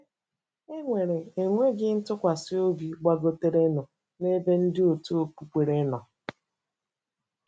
E nwere enweghị ntụkwasịobi gbagoterenụ n'ebe ndị òtù okpukpere nọ.